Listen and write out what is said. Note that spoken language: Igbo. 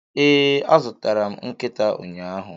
Ee, azụrụ m nkịta ụnyahụ.